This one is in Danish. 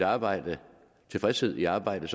arbejde tilfredshed i arbejdet